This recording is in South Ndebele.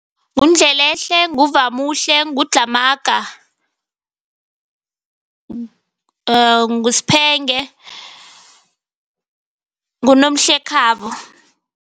NguNdlelehle, nguVamuhle, nguDlhamaga, nguSphenge, nguNomhlekhabo.